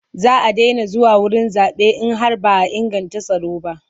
Za a daina zuwa wurin zaɓe in har ba a inganta tsaro ba.